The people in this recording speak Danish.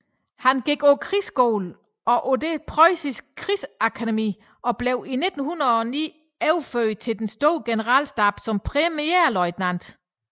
Han gik på krigsskolen og på det preussiske krigsakademi og blev i 1909 overført til den store generalstab som premierløjtnant